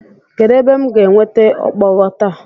Kedụ ebe m ga-enweta okpogho taa?